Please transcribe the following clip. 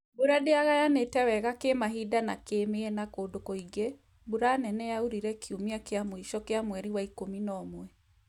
Mbura dĩagayanĩte wega kĩmahinda na kĩmiena kũndũ kũingi, mbura nene yaurire kiumia kĩa mũico kĩa mweri wa ikũmi na ũmwe